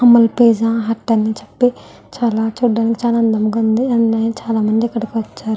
Pizza Hut ని చెప్పి చూడటానికి చాలా అందంగా ఉంది చాలా మంది ఇక్కడికి వచ్చారు.